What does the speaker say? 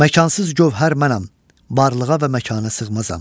Məkansız gövhər mənəm, varlığa və məkana sığmazam.